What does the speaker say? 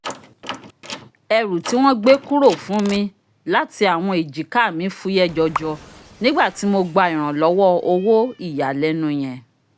ẹrú ti wọn gbe kúrò fún mi lati awọn ejika mi fuyẹ jọjọ nigbati mo gba iranlowo owo iyalẹnu yẹn